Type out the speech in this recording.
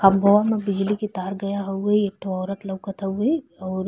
खंभवा में बिजली के तार गया हउवे। एक ठो औरत लउकत हउवे और --